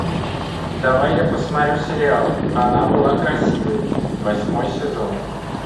давай я посмотрю сериал она была красивой восьмой сезон